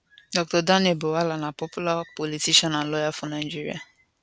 dr daniel bwala na popular politician and lawyer for nigerian